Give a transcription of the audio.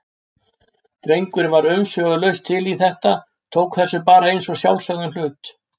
Drengurinn var umsvifalaust til í þetta, tók þessu bara eins og sjálfsögðum hlut.